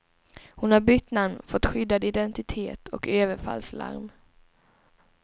Hon har bytt namn, fått skyddad identitet och överfallslarm.